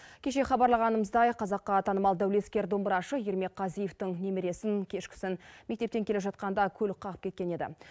кеше хабарлағанымыздай қазаққа танымал дәулескер домбырашы ермек қазиевтің немересін кешкісін мектептен келе жатқанда көлік қағып кеткен еді